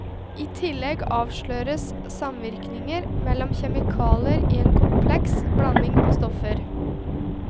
I tillegg avsløres samvirkninger mellom kjemikalier i en kompleks blanding av stoffer.